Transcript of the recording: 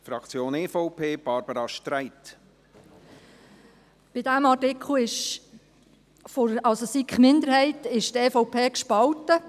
Bei diesem Artikel, also SiK-Minderheit, ist die EVP gespalten.